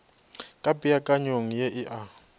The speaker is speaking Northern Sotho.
ka peakanyong ye e a